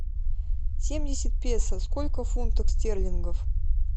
семьдесят песо сколько фунтов стерлингов